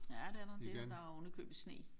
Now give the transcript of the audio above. Ja det er der det der er oven i købet sne